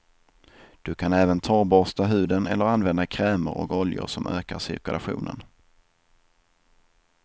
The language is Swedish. Du kan även torrborsta huden eller använda krämer och oljor som ökar cirkulationen.